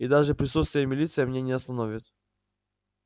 и даже присутствие милиции меня не остановит